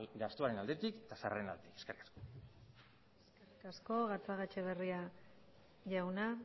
gastuaren aldetik baita sarreren aldetik eskerrik asko eskerrik asko gatzagaetxebarria jauna